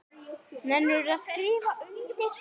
Nennirðu að skrifa undir?